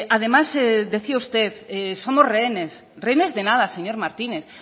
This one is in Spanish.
además decía usted somos rehenes rehenes de nada señor martínez